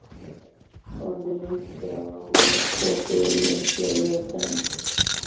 Hrönn, hvað er opið lengi á laugardaginn?